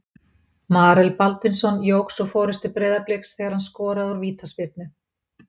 Marel Baldvinsson jók svo forystu Breiðabliks þegar hann skoraði úr vítaspyrnu.